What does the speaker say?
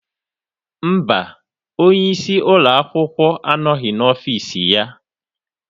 Mba, onye isi ụlọ akwụkwọ anọghị n'ọfiisi ya.